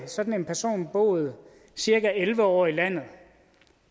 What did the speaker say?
sådan en person boet cirka elleve år i landet